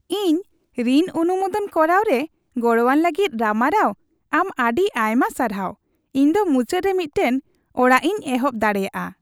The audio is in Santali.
ᱤᱧ ᱨᱤᱱ ᱚᱱᱩᱢᱳᱫᱚᱱ ᱠᱚᱨᱟᱣ ᱨᱮ ᱜᱚᱲᱚᱣᱟᱹᱧ ᱞᱟᱹᱜᱤᱫ ᱨᱟᱢᱟᱨᱟᱣ ᱟᱢ ᱟᱹᱰᱤ ᱟᱭᱢᱟ ᱥᱟᱨᱦᱟᱣ ᱾ ᱤᱧ ᱫᱚ ᱢᱩᱪᱟᱹᱫᱨᱮ ᱢᱤᱫᱴᱟᱝ ᱚᱲᱟᱜᱤᱧ ᱮᱦᱚᱯ ᱫᱟᱲᱮᱭᱟᱜᱼᱟ ᱾